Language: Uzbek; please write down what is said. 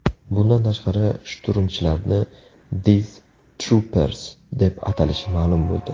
Bundan tashqari, shturmchilarni Death Troopers deb atalishi ma’lum bo‘ldi.